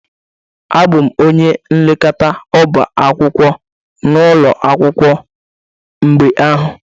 Abụ m onye nlekọta ọbá akwụkwọ n'ụlọ akwụkwọ mgbe ahụ